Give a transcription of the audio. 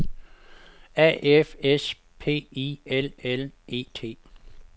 A F S P I L L E T